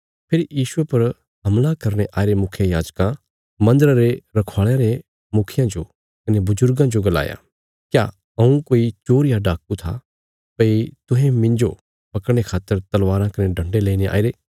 फेरी यीशुये पर हमला करने आईरे मुखियायाजकां मन्दरा रे रखवाल़यां रे मुखियां जो कने बजुर्गां जो गलाया क्या हऊँ कोई चोर या डाकू आ भई तुहें मिन्जो पकड़ने खातर तलवारां कने डन्डे लेईने आईरे